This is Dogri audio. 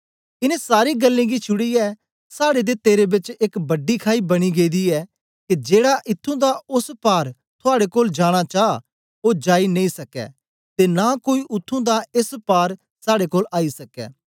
इन्नें सारी गल्लें गी छुड़ीयै साड़े ते तेरे बेच एक वड्डी खाई बनी गेदी ऐ के जेड़ा इत्थूं दा ओस पार थुआड़े कोल जाना चा ओ जाई नेई सकै ते नां कोई उत्त्थुं दा एस पार साड़े कोल आई सकै